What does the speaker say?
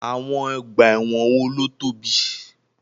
Àwọn ọgbà ẹ̀wọ̀n wo ló tóbi?